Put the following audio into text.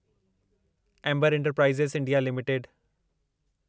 amber enterprises India limited